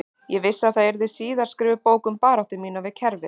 Ég vissi að það yrði síðar skrifuð bók um baráttu mína við kerfið